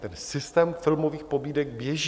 Ten systém filmových pobídek běží.